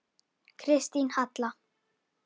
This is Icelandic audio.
Kristín Halla.